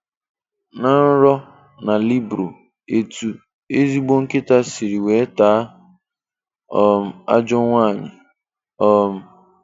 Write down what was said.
Ná nrọ na libro: Etú ezigbo nkịta sịrị weé taa um ajọọ nwaanyị. um